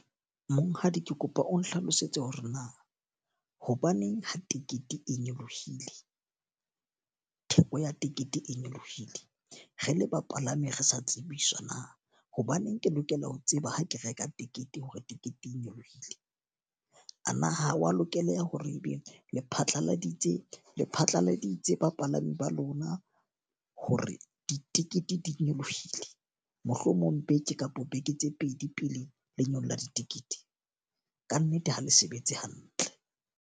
Monghadi ke kopa o nhlalosetse hore na hobaneng ha tekete e nyolohile? Theko ya tekete e nyolohile? Re le bapalami re sa tsebiswa na? Hobaneng ke lokela ho tseba ha ke reka tekete hore tekete e nyolohile? A na ha wa lokeleha hore e be le phatlaladitse le phatlaladitse bapalami ba lona hore ditekete di nyolohile? Mohlomong beke kapo beke tse pedi pele le nyolla ditikete. Ka nnete ha le sebetse hantle.